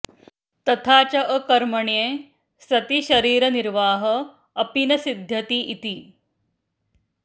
तथा च अकर्मण्ये सति शरीरनिर्वाहः अपि न सिद्ध्यति इति